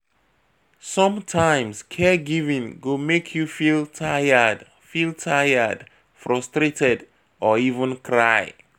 Sometimes caregiving go make you feel tired feel tired, frustrated or even cry